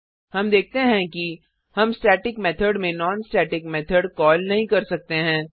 हम देखते हैं कि हम स्टेटिक मेथड में नॉन स्टेटिक मेथड कॉल नहीं कर सकते हैं